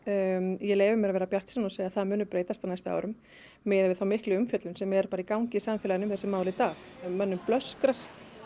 ég leyfi mér að vera bjartsýn og segja að það muni breytast á næstu árum miðað við þá miklu umfjöllun sem er um þessi mál í dag mönnum blöskrar